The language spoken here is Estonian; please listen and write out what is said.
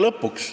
Lõpuks.